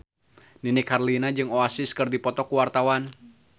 Nini Carlina jeung Oasis keur dipoto ku wartawan